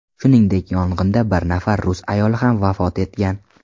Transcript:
Shuningdek, yong‘inda bir nafar rus ayoli ham vafot etgan.